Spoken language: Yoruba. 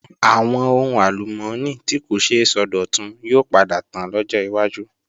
Àwọn ohun àlùmọ́ọ́nì tí kò ṣeé sọdọ̀tun yóò padà tán lọ́jọ́ wájú